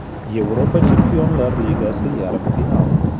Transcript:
Yevropa Chempionlar Ligasi Yarim final.